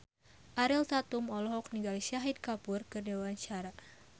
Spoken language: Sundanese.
Ariel Tatum olohok ningali Shahid Kapoor keur diwawancara